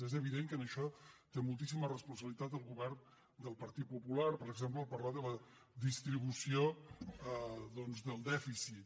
és evident que en això té moltíssima responsabilitat el govern del partit popular per exemple al parlar de la distribució del dèficit